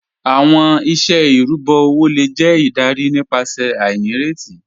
Awọn iṣẹ irubọ owo le jẹ idarí nípasẹ̀ ainíretí